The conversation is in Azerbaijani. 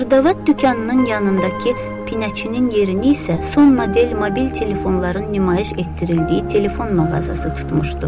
Xırdavat dükanının yanındakı pinəçinin yerini isə son model mobil telefonların nümayiş etdirildiyi telefon mağazası tutmuşdu.